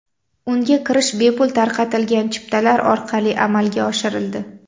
Unga kirish bepul tarqatilgan chiptalar orqali amalga oshirildi.